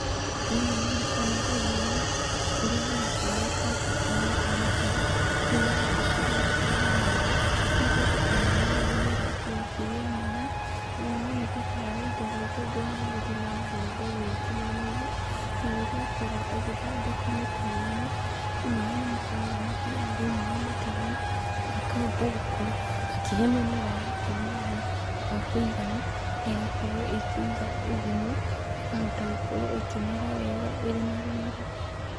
Thĩiniĩ wa mbica ĩno ndĩrona mũndũ ũrĩa ahana tarĩ kwenja arenja mĩtaro, nĩgetha iĩorwo ĩgĩtwara maaĩ , nĩgetha o mũmera o mũmera ũkorwo ũkĩgĩa maaĩ, na haroneka tarĩ indo ta itũngũrũ ahandĩte na mbembe gũkũ miena-inĩ, na rĩrĩa akorwo akĩthondeka mĩtaro ĩno , maaĩ nĩmakoragwo makĩgera thĩiniĩ wa mĩtaro ĩno, akahota gũkorwo akĩhe mĩmera yake maaĩ makũigana na ĩgakorwo ĩkĩiga ũgunyu, ĩkahota gũkorwo ĩkĩmera wega ĩrĩ na riri.